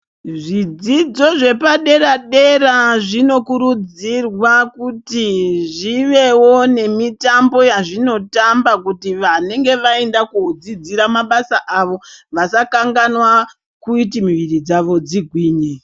Zvidzidzo zvepadera dera zvinokurudzirwa kuti zvivewo nemitambo yazvinotamba kuti vanenge vaende kunodzidzira mabasa avo vasakanganwa kuti mwiri dzavo dzigwinye.